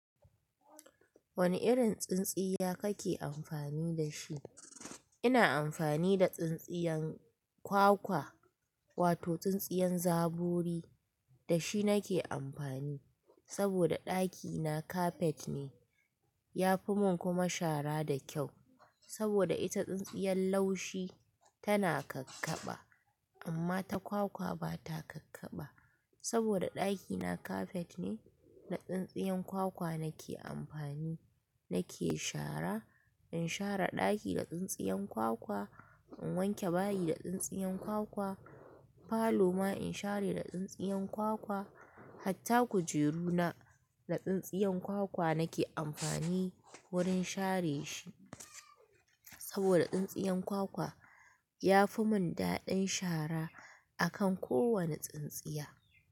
Wane irin tsintsiya kake amfani da shi? Ina amfani da tsintsiyan kwakwa, wato tsintsiyan zaburi da shi nake amfani saboda ɗakina kafet ne. Ya fi mun kuma shara da kyau saboda ita tsintsiyan laushi tana kakkaɓa amma ta kwakwa bata kakkaɓa. Saboda ɗakina kafet ne, da tsintsiyan kwakwa nake amfani nake shara. In shara ɗaki da tsintsiyan kwakwa, in wanke bayi da tsintsiyan kwakwa, falo ma in share da tsintsiyan kwakwa, hatta kujeru na, da tsintsiyan kwakwa nake amfani wurin share shi. Saboda tsintsiyan kwakwa ya fi mun daɗin shara akan kowane tsintsiya.